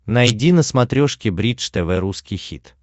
найди на смотрешке бридж тв русский хит